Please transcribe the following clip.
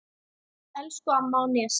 Elsku amma á Nesi.